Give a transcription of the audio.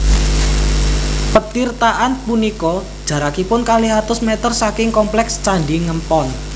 Petirtaan punika jarakipun kalih atus mèter saking komplèks Candhi Ngempon